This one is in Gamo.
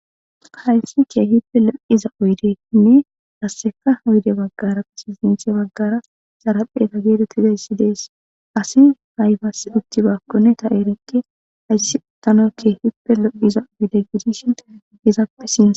hayssi ke hippe lo7iza uydenne hasseka uyde baggara pasizinthe baggara xarapheta geedetizayssi dees asi haybasiditti baakkonne ta eerekke hayssi utanokke keehippe lo7iza uyde gidishin hezappe sina